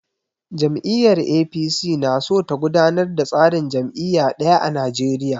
Jam'iyyar APC na so ta gudanar da tsarin jam'iyya ɗaya a Nigeria.